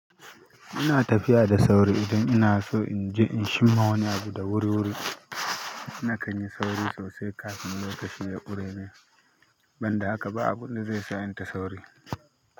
Ina tafiya da sauri idan inaso inje in chimma wani abu da wuri-wuri. Nakan yi sauri sosai kafin lokaci ya ƙure mun banda haka ba abun da ze sa inta sauri.